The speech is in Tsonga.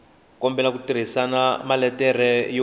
kombela u tirhisa maletere yo